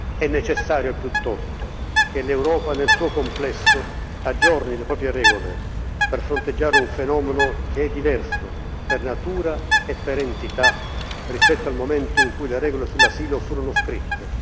È necessario, piuttosto, che l'Europa, nel suo complesso, aggiorni le proprie regole per fronteggiare un fenomeno che è diverso, per natura e per entità, rispetto al momento in cui le regole sull'asilo furono scritte.